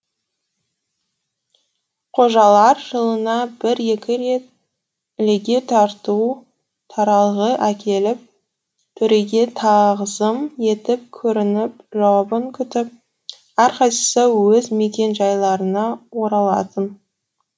қожалар жылына бір екі рет ілеге тарту таралғы әкеліп төреге тағзым етіп көрініп жауабын күтіп әрқайсысы өз мекен жайларына оралатын